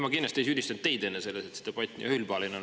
Ma kindlasti ei süüdistanud selles teid, et see debatt siin nii üheülbaline on.